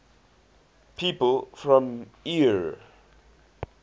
people from eure